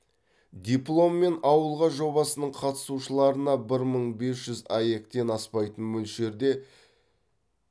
дипломмен ауылға жобасының қатысушыларына бір мың бес жүз аек тен аспайтын мөлшерде